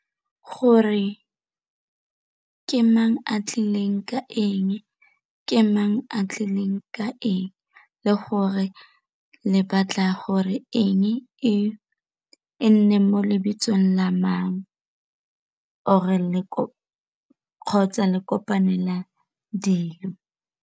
Gore ke mang a tlileng ka eng, ke mang a tlileng ka eng, le gore le batlago re eng e neng mo lebitsong la mang or-re le kopanela dilo.